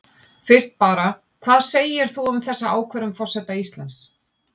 Fyrst bara, hvað segir þú um þessa ákvörðun forseta Íslands?